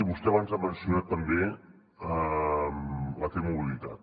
vostè abans ha mencionat també la t mobilitat